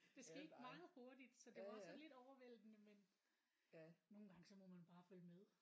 Det skete meget hurtigt så det var også sådan lidt overvældende men nogle gange så må man bare følge med